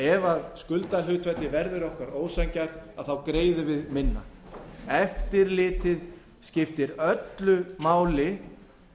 ef skuldahlutfallið verður okkur ósanngjarnt greiðum við minna eftirlitið skiptir öllu máli